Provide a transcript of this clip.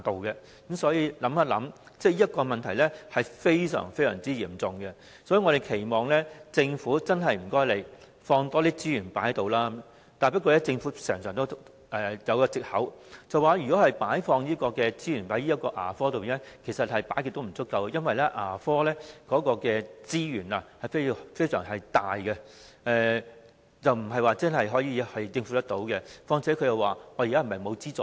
因此，這個問題非常嚴重，我們期望政府多投放資源在牙科服務上，但政府經常引用的藉口是，無論在牙科投放多少資源都不會足夠，因為牙科服務所需的資源數量龐大，難以全數負擔，況且政府認為現時並非沒有提供資助。